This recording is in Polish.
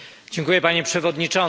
Panie Przewodniczący!